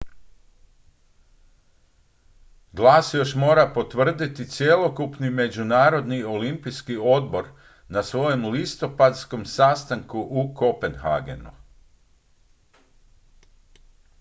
glas mora još potvrditi cjelokupni međunarodni olimpijski odbor na svojem listopadskom sastanku u kopenhagenu